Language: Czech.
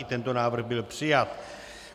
I tento návrh byl přijat.